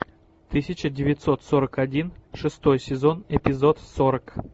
тысяча девятьсот сорок один шестой сезон эпизод сорок